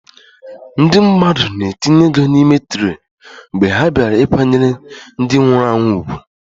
Ndị mmadụ na-etinye ego n'ime traktị mgbe ha bịara ịkwanyere ndị nwụrụ anwụ ùgwù.